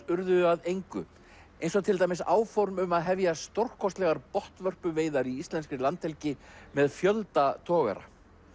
urðu að engu eins og til dæmis áform um að hefja stórkostlegar botnvörpuveiðar í íslenskri landhelgi með fjölda togara